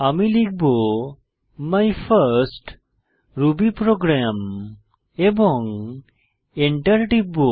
আমি লিখব my first Ruby program এবং এন্টার টিপব